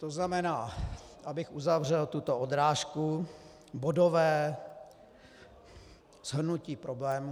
To znamená, abych uzavřel tuto odrážku, bodové shrnutí problému.